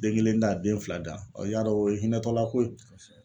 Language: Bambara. Den kelen ta den fila da y'a dɔ o ye hinɛ tɔla ko ye.